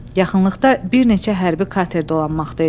Yaxınlıqda bir neçə hərbi kater dolanmaqda idi.